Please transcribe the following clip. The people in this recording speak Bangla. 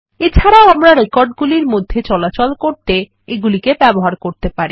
এছাড়াও আমরা রেকর্ডগুলির মধ্যে চলাচল করতে এগুলিকে ব্যবহার করতে পারি